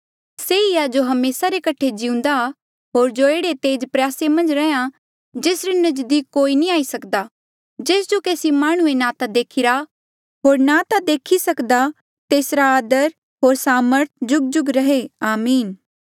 से ई आ जो हमेसा रे कठे जिउंदा होर जो एह्ड़े तेज प्रयासे मन्झ रैंहयां जेसरे नजदीक कोई नी आई सकदा जेस जो केसी माह्णुंऐ ना ता देखिरा होर ना ता देखी सकदा तेसरा आदर होर सामर्थ जुगजुग रहे आमीन